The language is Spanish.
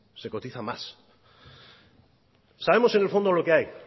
se cotiza más sabemos en el fondo lo que hay